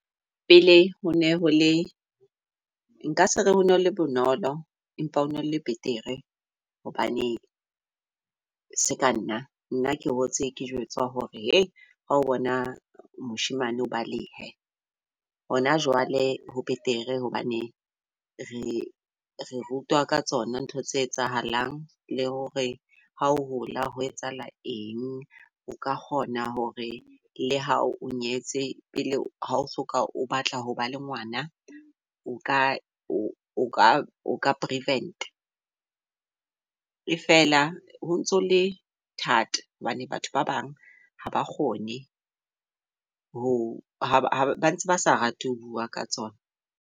Pele ho ne hole nka se re ho na ho le bonolo. Empa hone ho le betere hobane seka nna nna ke hotse ke jwetswa hore hei hao bona moshemane o balehe. Hona jwale ho betere hobane re re rutwa ka tsona ntho tse etsahalang, le hore ha o hola ho etsahala eng. O ka kgona hore le ha o nyetse pele ha o soka o batla hoba le ngwana. O ka o ka prevent-a. E fela ho ntso ho le thata hobane batho ba bang ha ba kgone ho ha ba ba ntse basa rate ho bua ka tsona.